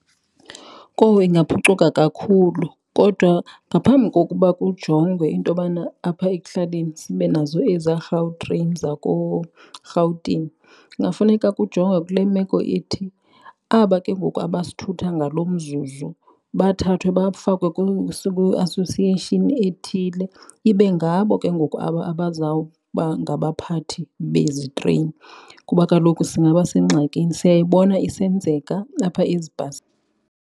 Kowu, ingaphucuka kakhulu kodwa ngaphambi kokuba kujongwe intobana apha ekuhlaleni sibe nazo eza Gautrain zakoRhawutini kungafuneka kujongwe kule meko ithi aba ke ngoku abasithutha ngalo mzuzu, bathathwe bafakwe kwi-association ethile, ibe ngabo ke ngoku aba abazawuba ngabaphathi bezi treyini kuba kaloku singaba sengxakini. Siyayibona isenzeka apha ezibhasini.